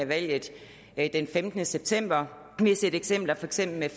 valget den femtende september vi har set eksempler for eksempel med